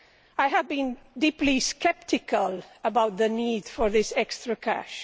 I have been deeply sceptical about the need for this extra cash.